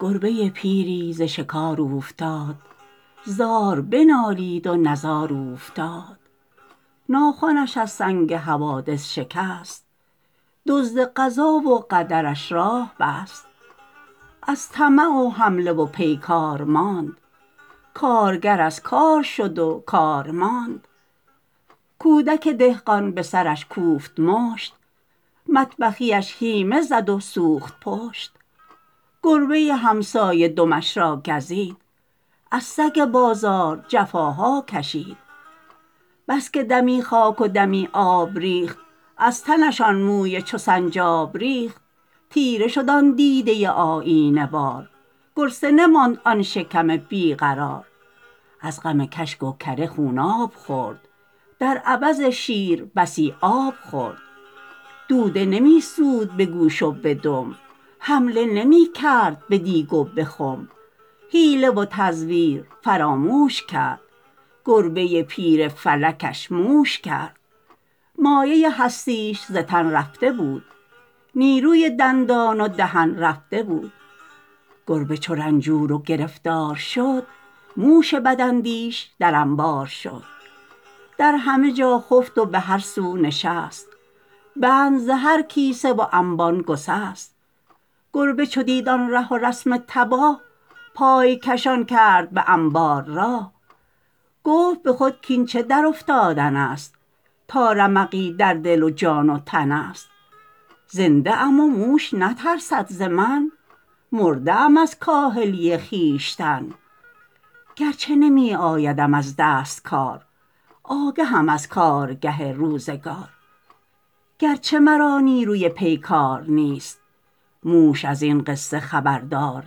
گربه پیری ز شکار اوفتاد زار بنالید و نزار اوفتاد ناخنش از سنگ حوادث شکست دزد قضا و قدرش راه بست از طمع و حمله و پیکار ماند کارگر از کار شد و کار ماند کودک دهقان بسرش کوفت مشت مطبخیش هیمه زد و سوخت پشت گربه همسایه دمش را گزید از سگ بازار جفاها کشید بسکه دمی خاک و دمی آب ریخت از تنش آن موی چو سنجاب ریخت تیره شد آن دیده آیینه وار گرسنه ماند آن شکم بیقرار از غم کشک و کره خوناب خورد در عوض شیر بسی آب خورد دوده نمیسود به گوش و به دم حمله نمیکرد به دیگ و به خم حیله و تزویر فراموش کرد گربه پیر فلکش موش کرد مایه هستیش ز تن رفته بود نیروی دندان و دهن رفته بود گربه چو رنجور و گرفتار شد موش بد اندیش در انبار شد در همه جا خفت و به هر سو نشست بند ز هر کیسه و انبان گسست گربه چو دید آن ره و رسم تباه پای کشان کرد به انبار راه گفت بخود کاین چه در افتادنست تا رمقی در دل و جان در تن است زنده ام و موش نترسد ز من مرده ام از کاهلی خویشتن گرچه نمی آیدم از دست کار آگهم از کارگه روزگار گرچه مرا نیروی پیکار نیست موش از این قصه خبردار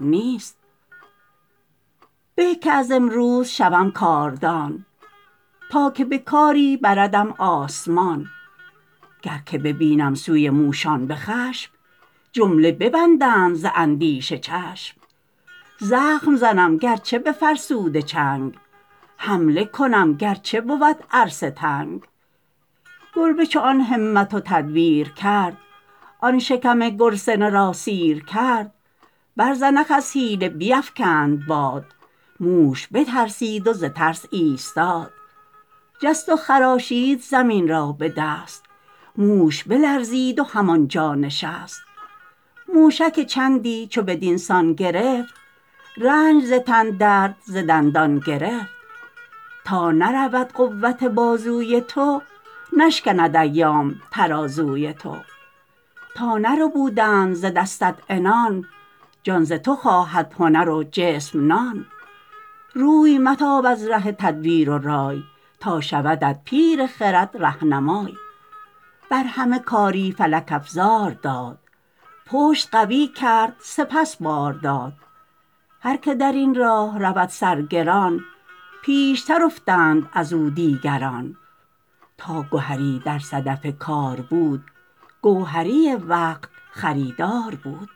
نیست به که از امروز شوم کاردان تا که به کاری بردم آسمان گر که ببینم سوی موشان بخشم جمله بیندند ز اندیشه چشم زخم زنم گرچه بفرسوده چنگ حمله کنم گرچه بود عرصه تنگ گربه چو آن همت و تدبیر کرد آن شکم گرسنه را سیر کرد بر زنخ از حیله بیفکند باد موش بترسید و ز ترس ایستاد جست و خراشید زمین را بدست موش بلرزید و همانجا نشست موشک چندی چو بدینسان گرفت رنج ز تن درد ز دندان گرفت تا نرود قوت بازوی تو نشکند ایام ترازوی تو تا نربودند ز دستت عنان جان ز تو خواهد هنر و جسم نان روی متاب از ره تدبیر و رای تا شودت پیر خرد رهنمای بر همه کاری فلک افزار داد پشت قوی کرد سپس بار داد هر که درین راه رود سر گران پیشتر افتند ازو دیگران تا گهری در صدف کار بود گوهری وقت خریدار بود